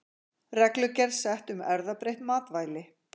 Reglugerð sett um erfðabreytt matvæli